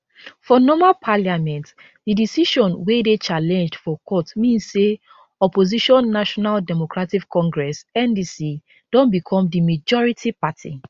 for normal parliament di decision wey dey challenged for court mean say opposition national democratic congress ndc don become di majority party